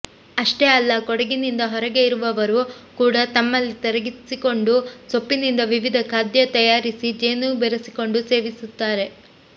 ಅಷ್ಟೇ ಅಲ್ಲ ಕೊಡಗಿನಿಂದ ಹೊರಗೆ ಇರುವವರು ಕೂಡ ತಮ್ಮಲ್ಲಿಗೆ ತರಿಸಿಕೊಂಡು ಸೊಪ್ಪಿನಿಂದ ವಿವಿಧ ಖಾದ್ಯ ತಯಾರಿಸಿ ಜೇನು ಬೆರೆಸಿಕೊಂಡು ಸೇವಿಸುತ್ತಾರೆ